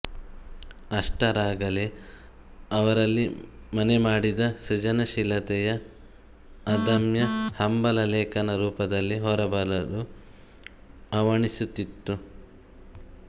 ಅಷ್ಟರಲ್ಲಾಗಲೇ ಅವರಲ್ಲಿ ಮನೆಮಾಡಿದ್ದ ಸೃಜನಶೀಲತೆಯ ಅದಮ್ಯ ಹಂಬಲ ಲೇಖಕನ ರೂಪದಲ್ಲಿ ಹೊರಬರಲು ಹವಣಿಸುತ್ತಿತ್ತು